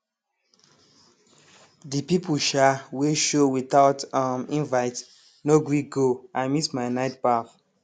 the people um wey show without um invite no gree go i miss my night baff